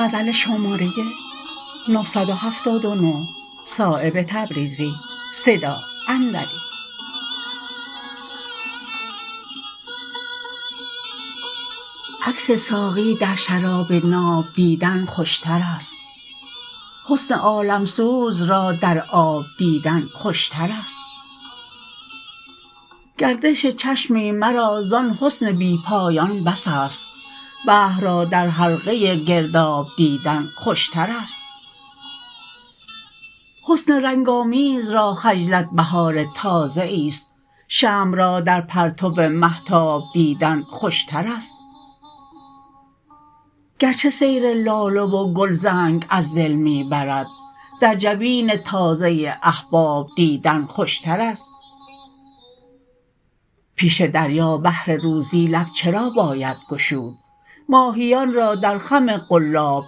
عکس ساقی در شراب ناب دیدن خوشترست حسن عالمسوز را در آب دیدن خوشترست گردش چشمی مرا زان حسن بی پایان بس است بحر را در حلقه گرداب دیدن خوشترست حسن رنگ آمیز را خجلت بهار تازه ای است شمع را در پرتو مهتاب دیدن خوشترست گرچه سیر لاله و گل زنگ از دل می برد در جبین تازه احباب دیدن خوشترست پیش دریا بهر روزی لب چرا باید گشود ماهیان را در خم قلاب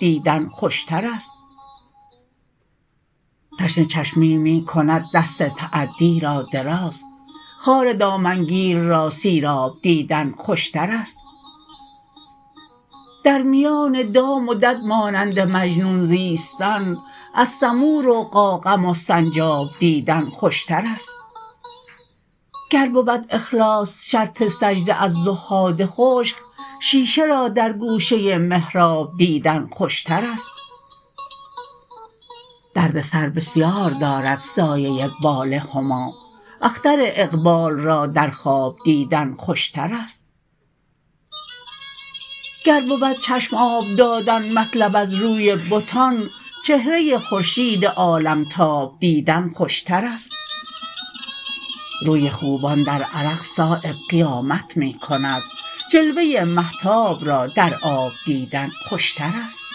دیدن خوشترست تشنه چشمی می کند دست تعدی را دراز خار دامنگیر را سیراب دیدن خوشترست در میان دام و دد مانند مجنون زیستن از سمور و قاقم و سنجاب دیدن خوشترست گر بود اخلاص شرط سجده از زهاد خشک شیشه را در گوشه محراب دیدن خوشترست دردسر بسیار دارد سایه بال هما اختر اقبال را در خواب دیدن خوشترست گر بود چشم آب دادن مطلب از روی بتان چهره خورشید عالمتاب دیدن خوشترست روی خوبان در عرق صایب قیامت می کند جلوه مهتاب را در آب دیدن خوشترست